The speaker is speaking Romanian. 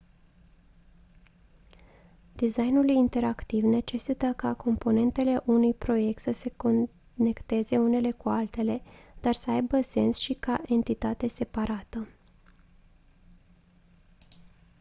designul interactiv necesită ca componentele unui proiect să se conecteze unele cu altele dar să aibă sens și ca entitate separată